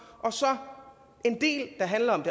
og så en del der handler om